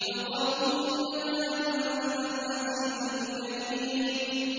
ذُقْ إِنَّكَ أَنتَ الْعَزِيزُ الْكَرِيمُ